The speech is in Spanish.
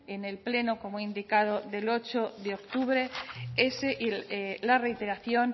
en el pleno como he indicado del ocho de octubre la reiteración